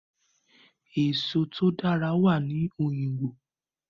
Èso tó dáa wà ní òyìngbò.